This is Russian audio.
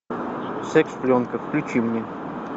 секс пленка включи мне